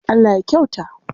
Allah ya kyauta.